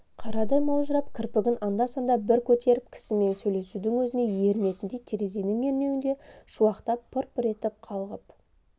қарадай маужырап кірпігін анда-санда бір көтеріп кісімен сөйлесудің өзіне ерінетіндей терезенің ернеуінде шуақтап пыр-пыр етіп қалғып